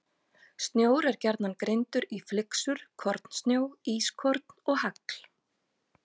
Snjór er gjarnan greindur í flyksur, kornsnjó, ískorn og hagl.